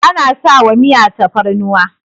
ana sawa Miya fatarnuwa